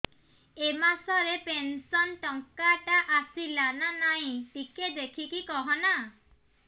ଏ ମାସ ରେ ପେନସନ ଟଙ୍କା ଟା ଆସଲା ନା ନାଇଁ ଟିକେ ଦେଖିକି କହନା